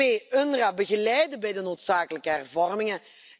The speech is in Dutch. Twee, UNRWA begeleiden bij de noodzakelijke hervormingen.